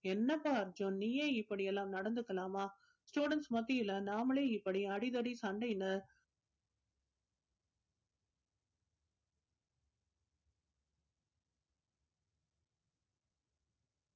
என்னப்பா அர்ஜுன் நீயே இப்படி எல்லாம் நடந்துக்கலாமா students மத்தியில நாமலே இப்படி அடிதடி சண்டைனு